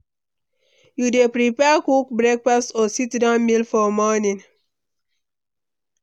you dey prefer quick breakfast or sit-down meal for morning?